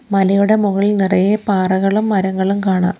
മലയുടെ മൊകളിൽ നിറയെ പാറകളും മരങ്ങളും കാണാം.